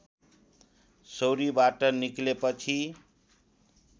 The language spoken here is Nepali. सौरीबाट निक्लेपछि